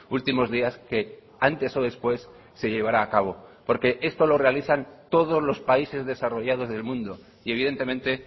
últimos días que antes o después se llevará a cabo porque esto lo realizan todos los países desarrollados del mundo y evidentemente